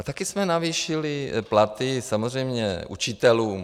A taky jsme navýšili platy, samozřejmě, učitelům.